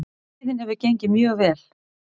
Veiðin hefur gengið mjög vel